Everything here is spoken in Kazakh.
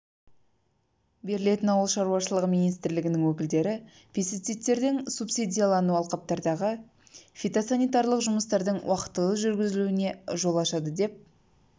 берілетін ауыл шаруашылығы министрлігінің өкілдері пестицидтердің субсидиялануы алқаптардағы фитосанитарлық жұмыстардың уақытылы жүргізілуіне жол ашады деп